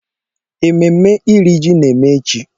Ememe iri ji na eme echi.